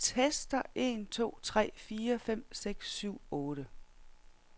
Tester en to tre fire fem seks syv otte.